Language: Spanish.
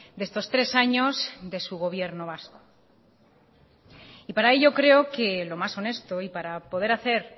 de estos tres años de su gobiernos vasco y para ello creo que lo más honesto y para poder hacer